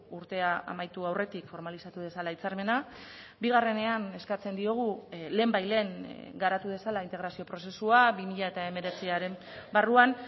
urtea amaitu aurretik formalizatu dezala hitzarmena bigarrenean eskatzen diogu lehenbailehen garatu dezala integrazio prozesua bi mila hemeretziaren barruan